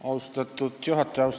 Austatud juhataja!